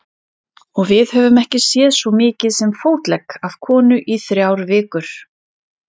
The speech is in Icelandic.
Og við höfum ekki séð svo mikið sem fótlegg af konu í þrjár vikur.